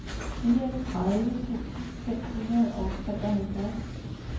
fireogtredive tusind fem hundrede og treoghalvfjerds